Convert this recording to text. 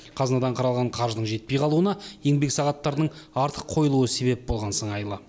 қазынадан қаралған қаржының жетпей қалуына еңбек сағаттарының артық қойылуы себеп болған сыңайлы